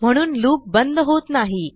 म्हणून लूप बंद होत नाही